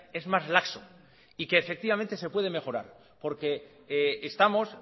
es más laxo y que efectivamente se puede mejorar porque estamos